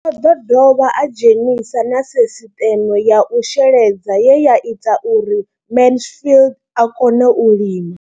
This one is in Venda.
O ḓo dovha a dzhenisa na sisiṱeme ya u sheledza ye ya ita uri Mansfied a kone u lima.